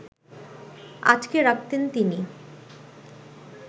আটকে রাখতেন তিনি